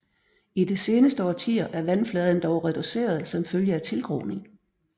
I de seneste årtier er vandfladen dog reduceret som følge af tilgroning